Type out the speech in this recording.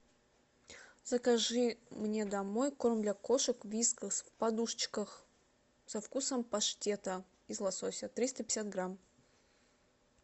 закажи мне домой корм для кошек вискас в подушечках со вкусом паштета из лосося триста пятьдесят грамм